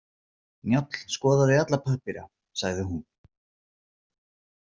Njáll skoðaði alla pappíra, sagði hún.